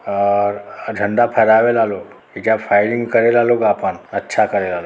और अ झण्डा फहरावेला लोग। एइजा फ़ाइरिंग करेला लोग। अच्छा करेला लो।